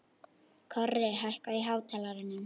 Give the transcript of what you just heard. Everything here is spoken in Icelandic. Korri, hækkaðu í hátalaranum.